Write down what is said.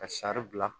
Ka sari bila